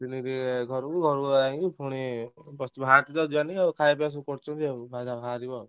ଆସିଥିଲି ଘରୁକୁ ଘରୁକୁ ଆସି ପୁଣି just ବାହାରିଛି ତ ଯିବା ନାଇ ଆଉ ଖାୟା ପିୟା ସବୁ କରୁଛନ୍ତି ଅଇଖା ବାହାରିବୁ ଆଉ।